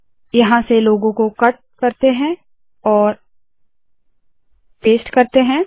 यहाँ से लोगो को कट और पेस्ट करते है